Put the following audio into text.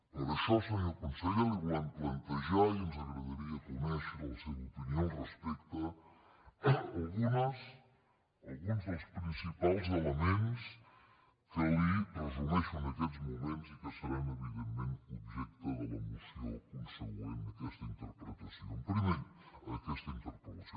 per això senyor conseller li volem plantejar i ens agradaria conèixer la seva opinió al respecte alguns dels principals elements que li resumeixo en aquests moments i que seran evidentment objecte de la moció consegüent a aquesta interpel·lació